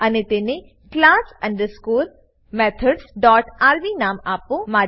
અને તેને class underscore methods dot RB નામ આપો